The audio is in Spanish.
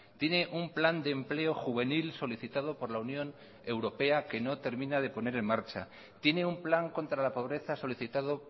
tiene un plan de empleo juvenil solicitado por la unión europea que no termina de poner en marcha tiene un plan contra la pobreza solicitado